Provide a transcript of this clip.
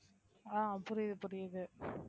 ஆஹ் புரியுது புரியுது